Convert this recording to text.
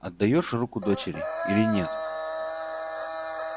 отдаёшь руку дочери или нет